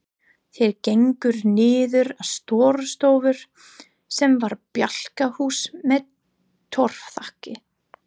Þeir gengu niður að Stórustofu sem var bjálkahús með torfþaki.